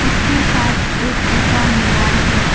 इसके साथ एक ऊंचा मीनार है।